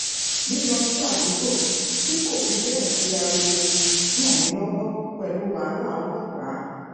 lilo si adugbo ti kò fi béè sí ariwo ran mi lowo pelu wahala olopaa